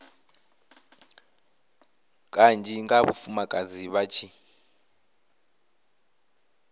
kanzhi nga vhafumakadzi vha tshi